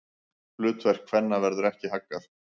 Hlutverki kvenna verður ekki haggað.